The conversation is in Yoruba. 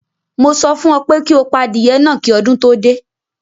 Mo sọ fún ọ pé kí o pa adìyẹ náà kí ọdún tó dé!